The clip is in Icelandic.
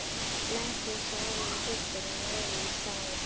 Blessuð sólin kyssir rauðan sæ.